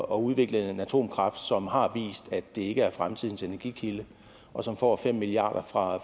udvikle en atomkraft som har vist at det ikke er fremtidens energikilde og som får fem milliarder fra